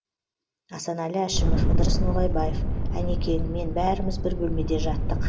асанәлі әшімов ыдырыс ноғайбаев әнекең мен бәріміз бір бөлмеде жаттық